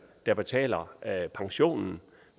der betaler pensionen